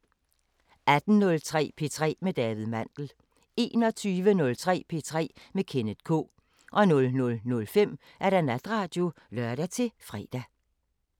18:03: P3 med David Mandel 21:03: P3 med Kenneth K 00:05: Natradio (lør-fre)